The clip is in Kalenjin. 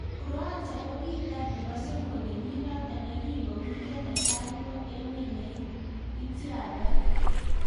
Croatia kokikatar nebo somok kenyit notok yekingo urio netai ko emet ne ityaktaat.